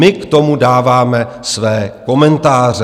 My k tomu dáváme své komentáře.